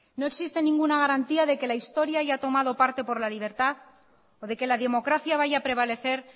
no existe ninguna garantía de que la historia haya tomado parte por la libertad o de que la democracia vaya a prevalecer